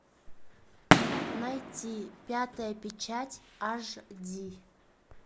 найти пятая печать аш ди